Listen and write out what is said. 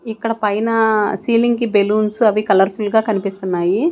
ఇక్కడ పైన సీలింగ్ కి బెలూన్స్ అవి కలర్ ఫుల్ గా కన్పిస్తున్నాయి.